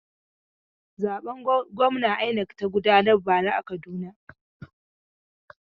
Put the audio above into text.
Zaben gwamna INEC ta gudanar bara a Kaduna.